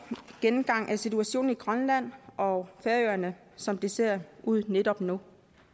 gennemgang af situationen i grønland og færøerne som det ser ud netop nu